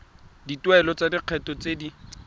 dituelo tsa lekgetho tse di